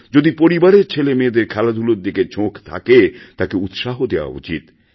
যদি পরিবারের ছেলেমেয়েদের খেলাধুলার দিকে ঝোঁক থাকে তাকেউৎসাহ দেওয়া উচিৎ